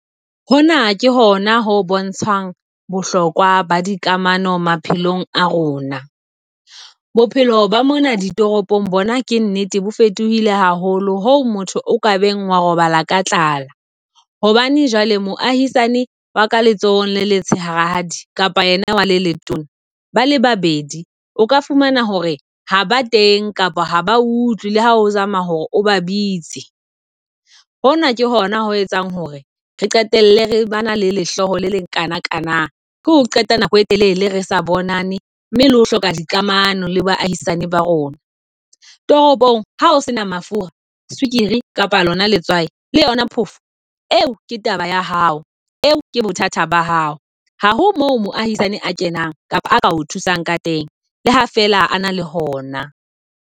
Hona ke hona ho bontshang bohlokwa ba dikamano maphelong a rona. Bophelo ba mona ditoropong bona, ke nnete bo fetohile haholo ho motho o ka beng wa robala ka tlala. Hobane jwale moahisani wa ka letsohong le letshehadi kapa yena wa letona bale babedi obka fumana hore ha ba teng, kapa ha ba utlwile ha o zama hore o ba bitse. Hona ke hona ho etsang hore re qetelle re bana le lehloyo le le kana kana, ke ho qeta nako e telele re sa bonane mme le ho hloka di kamano le baahisane ba rona. Toropong ha o sena fuwa sukiri kapa lona letswai le yona phofo eo ke taba ya hao. Eo ke bothata ba hao ha ho mo moahisane a kenang kapa a ka o thusang ka teng. Le ha fela a na le hona.